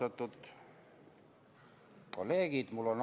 Austatud kolleegid!